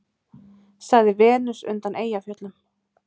sagði Venus undan Eyjafjöllum.